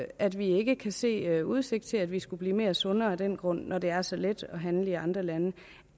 at vi ikke kan se der er udsigt til at vi skulle blive mere sunde af den grund når det er så let at handle i andre lande